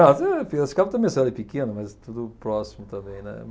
Piracicaba também é uma cidade pequena, mas tudo próximo também, né?